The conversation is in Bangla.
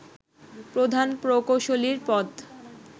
প্রধান প্রকৌশলীর পদ